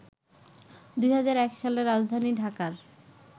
২০০১ সালে রাজধানী ঢাকার